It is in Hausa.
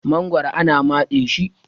magoro ana matse shi